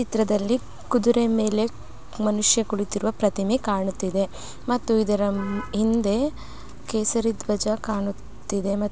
ಚಿತ್ರದಲ್ಲಿ ಕುದುರೆ ಮೇಲೆ ಮನುಷ್ಯ ಕುಳಿತಿರುವ ಪ್ರತಿವೆ ಕಾಣುತ್ತಿದೆ ಇದರ ಹಿಂದೆ ಕೇಸರಿದ್ವಜ ಕಾಣುತ್ತಿದೆ.